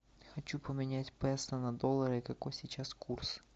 хочу поменять песо на доллары какой сейчас курс